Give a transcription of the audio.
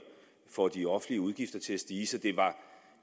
får de offentlige udgifter til at stige så